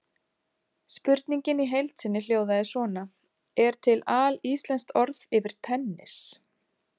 Spurningin í heild sinni hljóðaði svona: Er til alíslenskt orð yfir tennis?